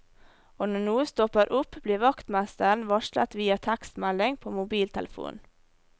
Og når noe stopper opp blir vaktmesteren varslet via tekstmelding på mobiltelefonen.